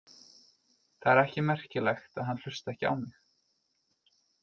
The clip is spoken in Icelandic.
Það er ekki merkilegt að hann hlusti ekki á mig.